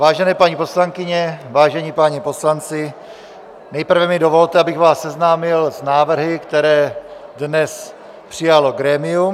Vážené paní poslankyně, vážení páni poslanci, nejprve mi dovolte, abych vás seznámil s návrhy, které dnes přijalo grémium.